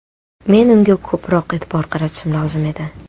Men unga ko‘proq e’tibor qaratishim lozim edi.